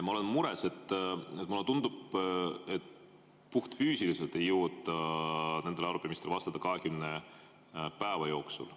Ma olen mures, sest mulle tundub, et puhtfüüsiliselt ei jõuta nendele arupärimistele vastata 20 päeva jooksul.